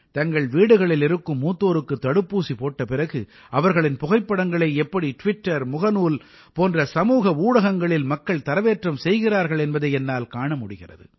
தங்கள் வீடுகளில் இருக்கும் மூத்தோருக்குத் தடுப்பூசி போட்ட பிறகு அவர்களின் புகைப்படங்களை எப்படி ட்விட்டர் முகநூல் போன்ற சமூக ஊடகங்களில் மக்கள் தரவேற்றம் செய்கிறார்கள் என்பதை என்னால் காண முடிகிறது